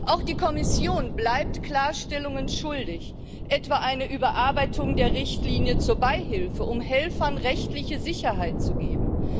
Auch die Kommission bleibt Klarstellungen schuldig, etwa eine Überarbeitung der Richtlinie zur Beihilfe, um Helfern rechtliche Sicherheit zu geben.